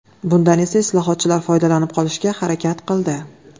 Bundan esa islohotchilar foydalanib qolishga harakat qildi.